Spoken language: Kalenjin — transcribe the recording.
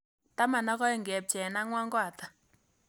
Taman ak oeng' kepcheen ang'wan ko ata